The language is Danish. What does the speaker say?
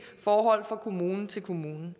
forhold fra kommune til kommune